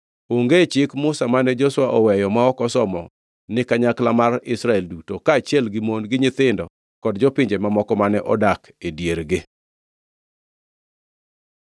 Onge chik Musa mane Joshua oweyo ma ok osomo ni kanyakla mar Israel duto, kaachiel gi mon, gi nyithindo, kod jopinje mamoko mane odak e diergi.